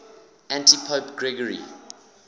antipope gregory